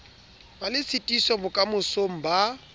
be le tshitiso bokamosong ba